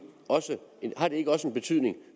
og